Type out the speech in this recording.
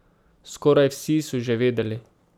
Skoraj vsi so že vedeli.